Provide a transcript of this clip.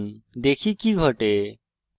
দেখি কি ঘটে